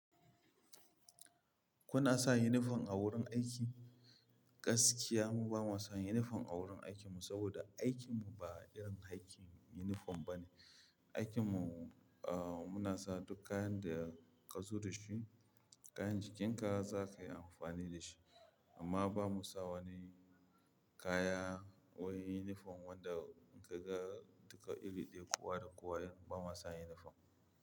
Kuna sa unifom a wurin aiki? Gaskiya mu ba mu sa unifom a wurin aikin mu saboda aikin mu ba irin aikin unifom ba ne. Aikin mu, muna sa duk kayan da ka zo da shi, kayan jikin ka za ka yi amfani da shi. Amma ba mu sa wani kaya bawai uniform wanda ka ga duka iri ɗaya kowa da kowa, irin ba ma sa uniform.